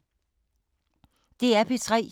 DR P3